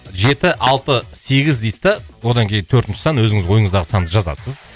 жеті алты сегіз дейсіз да одан кейін төртінші сан өзіңіз ойыңыздағы санды жазасыз